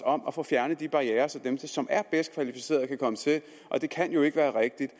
om at få fjernet de barrierer så dem som er bedst kvalificerede kan komme til det kan jo ikke være rigtigt at